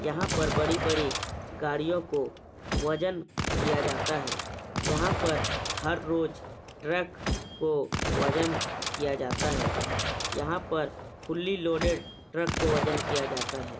यहाँ पर बड़ी-बड़ी गाड़ियों को वजन किया जाता है यहाँ पर हर रोज ट्रक को वजन किया जाता है यहाँ पर फुली लोडेड ट्रक को वजन किया जाता है।